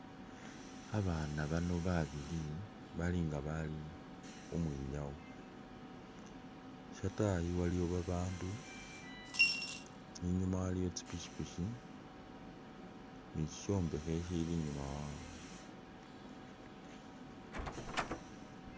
Babana bano babili balinga bali khumwinyawo shatayi waliwo babandu, inyuma waliyo tsipikipiki ni shombekhe shili inyuma wawe